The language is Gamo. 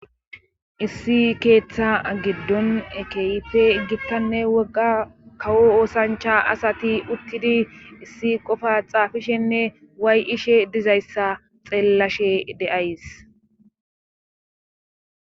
Issi keetha giiddon keehippe gittanne wogga kawo oosancha asati uttidi issi xaafishenne way7ishe diizayssa xeelashe de7ays.